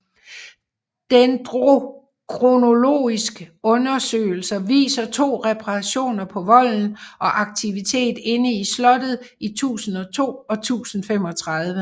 Dendrokronologisk undersøgelser viser to reparationer på volden og aktivitet inde i slottet i 1002 og 1035